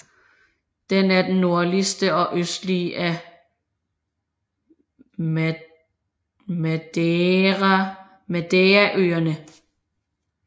Den er den nordligste og østligste af Madeiraøerne